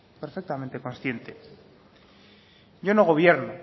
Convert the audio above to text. perfectamente consciente yo no gobierno